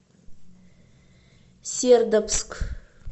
сердобск